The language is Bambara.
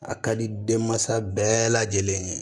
A ka di denmansa bɛɛ lajɛlen ye